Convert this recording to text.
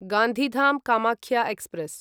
Gandhidham Kamakhya express